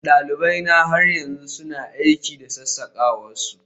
dalibaina har yanzu suna aiki da sassakawar su